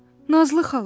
Nazlı xala.